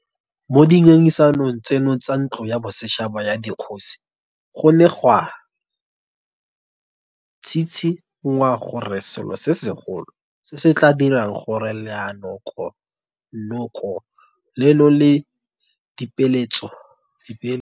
Mo dingangisanong tseno tsa Ntlo ya Bosetšhaba ya Dikgosi go ne ga tshitshi ngwa gore selo se segolo se se tla dirang gore Leanoko nokono leno la Dipeeletso mo Metseselegaeng le atlege ke go isa baeteledipele ba me rero ya setso katisong gore ba matlafadiwe le go tlamelwa ka bokgoni.